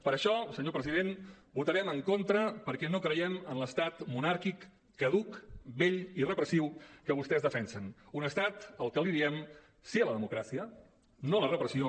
per això senyor president hi votarem en contra perquè no creiem en l’estat monàrquic caduc vell i repressiu que vostès defensen un estat al que li diem sí a la democràcia no a la repressió